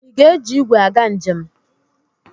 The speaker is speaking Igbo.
Ị ga-eji igwe aga njem?